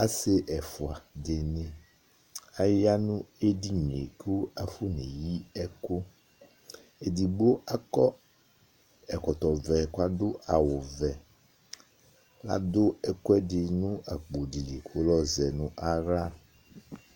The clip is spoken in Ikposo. Asi ɛfua di aya nu edinie afɔneyi ɛku edigbo akɔ ɛkɔtɔ ɔvɛ edigbo adu awu vɛ adu ɛkuɛdi nu akpodi li ku lɔzɛ naɣla